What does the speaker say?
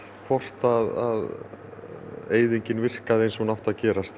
hvort að eyðingin virkaði eins og hún átti að gerast